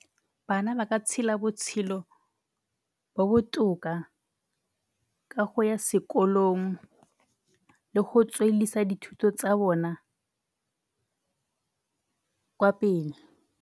Bana ba ka tshela botshelo bo botoka ka go ya sekolong le go tsweleledisa dithuto tsa bona kwa pele.